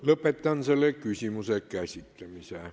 Lõpetan selle küsimuse käsitlemise.